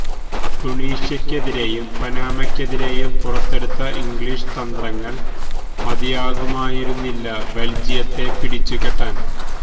ടുണീഷ്യക്കെതിരെയും പനാമയ്ക്കെതിരെയും പുറത്തെടുത്ത ഇംഗ്ലീഷ് തന്ത്രങ്ങള് മതിയാകുമായിരുന്നില്ല ബെല്ജിയത്തെ പിടിച്ചുകെട്ടാന്